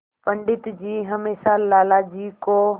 पंडित जी हमेशा लाला जी को